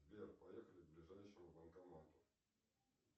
сбер поехали к ближайшему банкомату